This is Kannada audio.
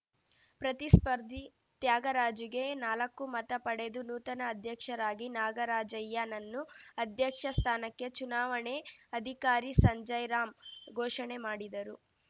ಪ್ರತಿಸ್ಪರ್ಧಿ ತ್ಯಾಗರಾಜುಗೆ ನಾಲಕ್ಕು ಮತ ಪಡೆದು ನೂತನ ಅಧ್ಯಕ್ಷರಾಗಿ ನಾಗರಾಜಯ್ಯನನ್ನು ಅಧ್ಯಕ್ಷ ಸ್ಥಾನಕ್ಕೆ ಚುನಾವಣೆ ಅಧಿಕಾರಿ ಸಂಜಯ್‍ರಾಮ್ ಘೋಷಣೆ ಮಾಡಿದರು